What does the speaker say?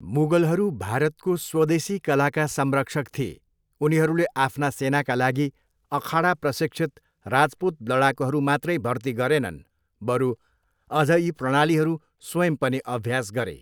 मुगलहरू भारतको स्वदेशी कलाका संरक्षक थिए, उनीहरूले आफ्ना सेनाका लागि अखाडा प्रशिक्षित राजपूत लडाकुहरू मात्रै भर्ती गरेनन्, बरू अझ यी प्रणालीहरू स्वयं पनि अभ्यास गरे।